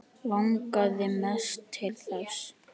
Langaði mest til þess.